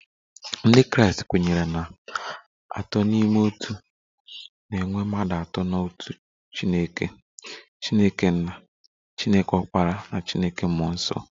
Ndị Kraịst kwenyere na Atọ n'Ime Otu, na e nwere mmadụ atọ n'otu Chineke, Chineke nna, Chineke ọkpara na Chineke mmụọ nsọ